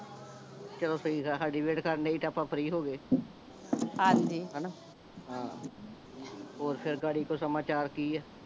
ਚਲੋ ਠੀਕ ਆ ਸਾਡੀ ਵੈਟ ਕਰਨ ਡਏ ਸੀ ਆਪਾਂ ਫ਼੍ਰੀ ਹੋ ਗਏ ਹਾਂਜੀ ਹਣਾ ਹਾਂ ਹੋਰ ਫੇਰ ਗਾੜੀ ਕੋਈ ਸਮਾਚਾਰ ਕੀ ਆ